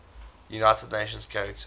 united nations charter